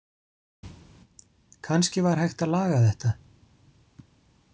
Kannski var hægt að laga þetta.